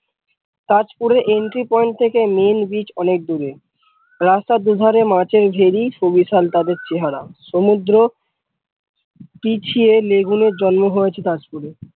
তাজপুরের entry point থেকে main bridge অনেক দূরে রাস্তার দু ধারে মাছের ভেরি সমুদ্র পিছিয়ে লেগুনের জন্ম হয়েছে তাজপুরে।